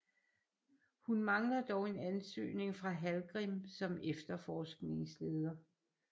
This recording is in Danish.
Hun mangler dog en ansøgning fra Hallgrim som efterforskningsleder